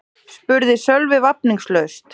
spurði Sölvi vafningalaust.